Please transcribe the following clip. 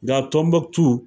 Nga Tɔnbɔkutu .